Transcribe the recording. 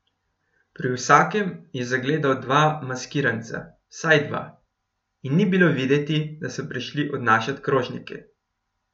Pri vsakem je zagledal dva maskiranca, vsaj dva, in ni bilo videti, da so prišli odnašat krožnike.